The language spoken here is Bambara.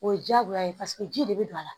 O ye diyagoya ye paseke ji de bɛ don a la